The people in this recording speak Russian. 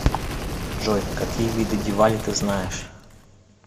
джой какие виды дивали ты знаешь